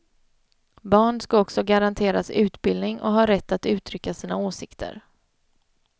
Barn ska också garanteras utbildning och ha rätt att uttrycka sina åsikter.